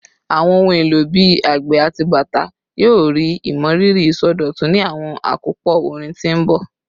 Awọn ohun elo bii agbe ati bata yoo rii imọriri isọdọtun ni awọn akopọ orin ti n bọ